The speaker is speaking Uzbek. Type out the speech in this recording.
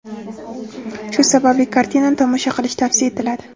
Shu sababli kartinani tomosha qilish tavsiya etiladi.